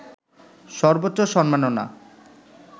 সর্বোচ্চ সম্মাননা